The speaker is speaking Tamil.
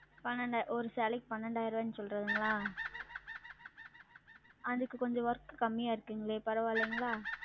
பன்னெண்டா ஓரு சேலைக்கு பன்னெண்டாயிரவான்னு சொல்றீங்களா? அதுக்கு கொஞ்சம் Work கம்மியா இருக்குங்ளே பரவாயில்லங்ளா?